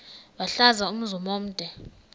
wahlala umzum omde